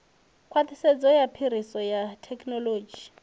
khwaṱhisedzo ya phiriso ya thekinolodzhi